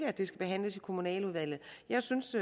at det skal behandles i kommunaludvalget jeg synes